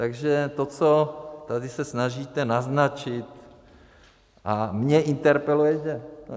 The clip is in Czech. Takže to, co tady se snažíte naznačit a mě interpelujete.